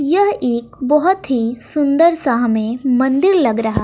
यह एक बहुत ही सुंदर सा हमें मंदिर लग रहा--